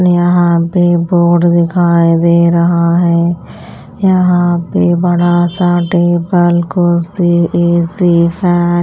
यहाँ पे बोर्ड दिखाई दे रहा है यहाँ पे बड़ा सा टेबल कुर्सी ए_सी फै --